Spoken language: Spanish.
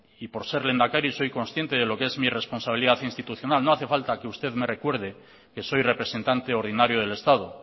y por ser lehendakari soy consciente de lo que es mi responsabilidad institucional no hace falta que usted me recuerde que soy representante ordinario del estado